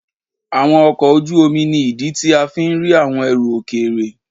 Àwọn ọkọ̀ ojú omi ni ìdí tí a fi ń rí àwọn ẹrù òkèèrè.